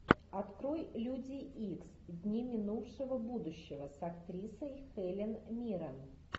открой люди икс дни минувшего будущего с актрисой хелен миррен